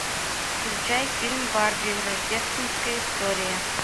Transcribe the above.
включай фильм барби рождественская история